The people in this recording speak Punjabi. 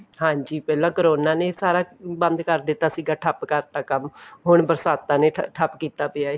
ਹਾਂਜੀ ਪਹਿਲਾਂ corona ਨੇ ਸਾਰਾ ਬੰਦ ਕਰ ਦਿੱਤਾ ਸੀਗਾ ਠੱਪ ਕਰਤਾ ਕੰਮ ਹੁਣ ਬਰਸਾਤਾਂ ਨੇ ਠੱਪ ਕੀਤਾ ਪਿਆ ਏ